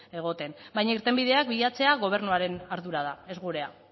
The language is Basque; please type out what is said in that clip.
egoten baina irtenbideak bilatzea gobernuaren ardura da ez gurea